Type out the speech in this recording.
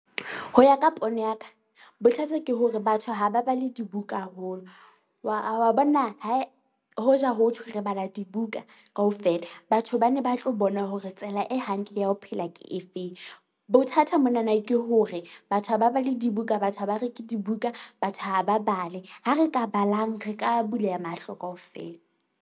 Ho ya ka pono ya ka, bothata ke hore batho ha ba bale dibuka haholo wa wa bona hoja ho thwe re bala dibuka kaofela, batho bane ba tlo bona hore tsela e hantle ya ho phela ke efeng. Bothata mona na ke hore batho ha ba bale dibuka. Batho ha ba reke dibuka. Batho ha ba bale. Ha re ka balang, re ka buleha mahlo kaofela.